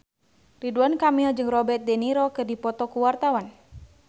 Ridwan Kamil jeung Robert de Niro keur dipoto ku wartawan